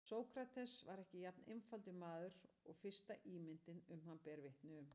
Sókrates var ekki jafn einfaldur maður og fyrsta ímyndin um hann ber vitni um.